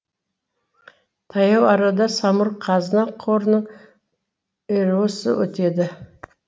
таяу арада самұрық қазына қорының іро сы өтеді